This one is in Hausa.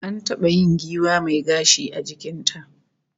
An taba yin giwa mai gashi a jikin ta